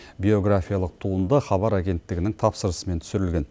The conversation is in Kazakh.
биографиялық туынды хабар агенттігінің тапсырысымен түсірілген